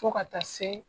Fo ka taa se